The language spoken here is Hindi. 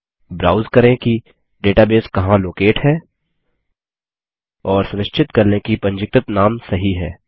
ब्राउज करें कि डेटाबेस कहाँ लोकेट है और सुनिश्चित कर लें कि पंजीकृत नाम सही है